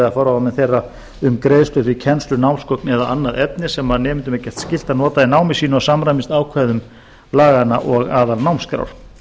eða forráðamenn þeirra um greiðslur fyrir kennslu námsgögn eða annað efni sem nemendum er gert skylt að nota í námi sínu og samrýmist ákvæðum laganna og aðalnámskrá